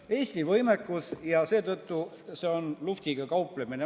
... võimekus ja seetõttu on see luhvtiga kauplemine.